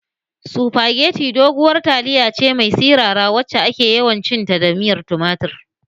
Supageti doguwar taliya ce mai sirara wacce ake yawan cin ta da miyar tumatir